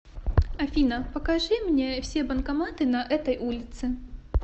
афина покажи мне все банкоматы на этой улице